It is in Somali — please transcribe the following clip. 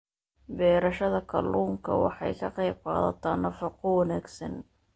Beerashada kalluunka waxay ka qaybqaadataa nafaqo wanaagsan.